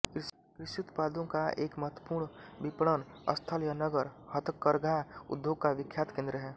कृषि उत्पादों का एक महत्त्वपूर्ण विपणन स्थल यह नगर हथकरघा उद्योग का विख्यात केंद्र है